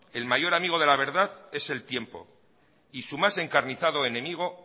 el mayor amigo de la verdad es el tiempo y su más encarnizado enemigo